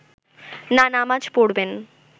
না নামাজ পড়বেন